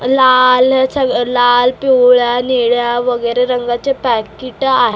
लाल च लाल पिवळ्या निळ्या वगेरे रंगाचे पाकीटं आ--